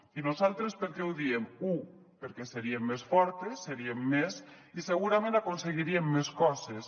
i nosaltres per què ho diem u perquè seriem més fortes seriem més i segurament aconseguiríem més coses